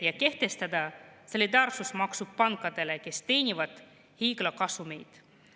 … ja kehtestada solidaarsusmaksu pankadele, kes teenivad hiigelkasumeid.